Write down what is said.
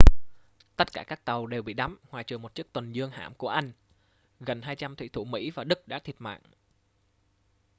tất cả các tàu đều bị đắm ngoại trừ một chiếc tuần dương hạm của anh gần 200 thủy thủ mỹ và đức đã thiệt mạng